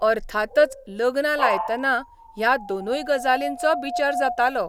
अर्थातच लग्नां लायतना ह्या दोनूय गजालींचो बिचार जातालो.